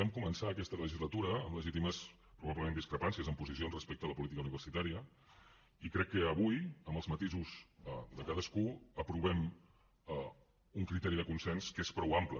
vam començar aquesta legislatura amb legítimes probablement discrepàncies en posicions respecte a la política universitària i crec que avui amb els matisos de cadascú aprovem un criteri de consens que és prou ampli